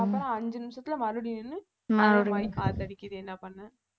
அப்புறம் அஞ்சு நிமிஷத்துல மறுபடியும் நின்னு காத்தடிக்குது என்ன பண்ண